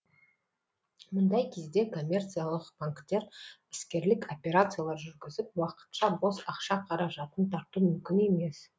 мұндай кезде коммерциялық банктер іскерлік операциялар жүргізіп уақытша бос ақша қаражатын тарту мүмкін емес